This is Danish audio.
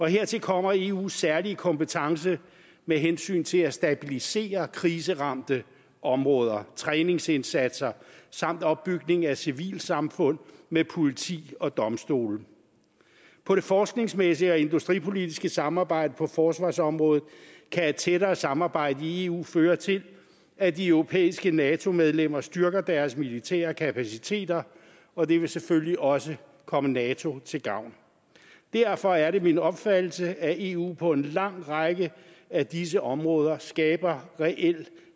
hertil kommer eus særlige kompetence med hensyn til at stabilisere kriseramte områder træningsindsatser samt opbygning af civilsamfund med politi og domstole på det forskningsmæssige og industripolitiske samarbejde på forsvarsområdet kan et tættere samarbejde i eu føre til at de europæiske nato medlemmer styrker deres militære kapaciteter og det vil selvfølgelig også komme nato til gavn derfor er det min opfattelse at eu på en lang række af disse områder skaber reelt